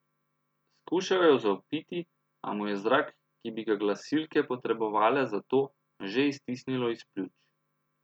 Skušal je zavpiti, a mu je zrak, ki bi ga glasilke potrebovale za to, že iztisnilo iz pljuč.